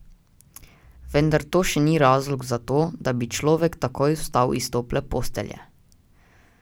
Vendar to še ni razlog za to, da bi človek takoj vstal iz tople postelje.